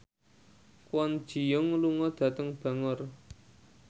Kwon Ji Yong lunga dhateng Bangor